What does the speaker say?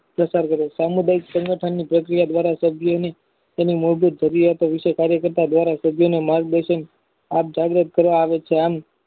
પ્રસાર કરે છે સમુદક સંગઠનની પ્રક્રિયા દ્વારા સભ્યની તેની મૌખિક જરૂરિયાત વિશે કાર્ય કરતા જયારે સભ્યો ને મન દર્શક આપ જાહેરાત કરે આવે છે. આમ